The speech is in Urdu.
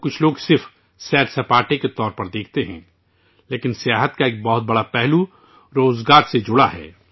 کچھ لوگ سیاحت کو صرف سیر سپاٹے کے طور پر دیکھتے ہیں لیکن سیاحت کا ایک بہت بڑا پہلو روزگار سے جڑا ہوا ہے